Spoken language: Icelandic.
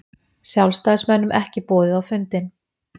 Sjálfstæðismönnum ekki boðið á fundinn